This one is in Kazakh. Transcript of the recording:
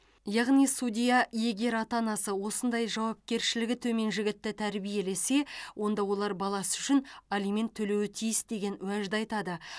яғни судья егер ата анасы осындай жауапкершілігі төмен жігітті тәрбиелесе онда олар баласы үшін алимент төлеуі тиіс деген уәжді айтады